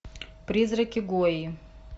призраки гойи